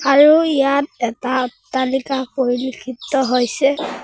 আৰু ইয়াত এটা অট্টালিকা পৰিলক্ষিত হৈছে।